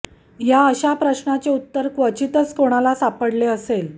या अश्या प्रश्नाचे उत्तर खचीतच कोणाला सापडले असेल